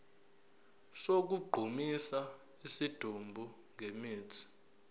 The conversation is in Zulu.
sokugqumisa isidumbu ngemithi